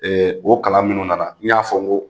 o kalan minnu nana, n y'a fɔ n ko